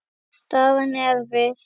Staðan er erfið.